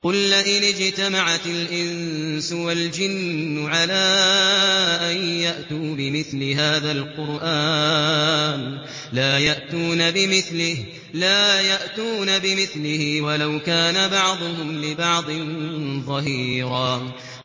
قُل لَّئِنِ اجْتَمَعَتِ الْإِنسُ وَالْجِنُّ عَلَىٰ أَن يَأْتُوا بِمِثْلِ هَٰذَا الْقُرْآنِ لَا يَأْتُونَ بِمِثْلِهِ وَلَوْ كَانَ بَعْضُهُمْ لِبَعْضٍ ظَهِيرًا